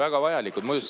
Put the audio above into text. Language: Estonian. Väga vajalikud!